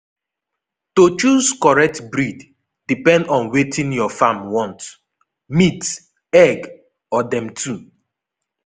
to choose correct breed depend on wetin your farm want—meat egg or them two